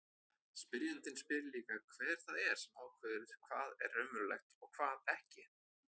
Spyrjandinn spyr líka hver það er sem ákveður hvað er raunverulegt og hvað ekki.